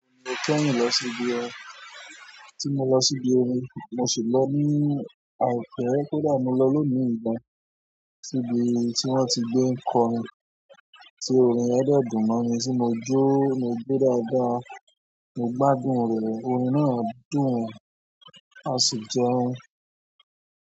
Mo ki n rin lọ sí ibi orin, tí mo lọ sí ibi orin, mo sì lọ ní àìpẹ́ kódà mo lọ lónì yìí gan sí ibi tí wón ti gbé ń kọ orin, tí orin yẹn dẹ́ dùn mọ́ mi tí mo jó, mo jo dáadáa, mo gbádùn rẹ̀ orin náà dùn, á sì jẹ́un.